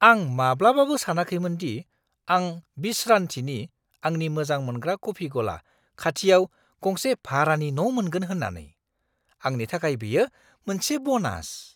आं माब्लाबाबो सानाखैमोन दि आं विश्रानथिनि (आंनि मोजां मोनग्रा कफि गला) खाथियाव गंसे भारानि न' मोनगोन होन्नानै। आंनि थाखाय बेयो मोनसे ब'नास!